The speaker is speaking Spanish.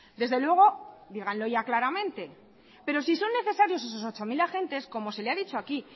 desde luego díganlo ya claramente pero si son necesarios esos ocho mil agentes como se le ha dicho aquí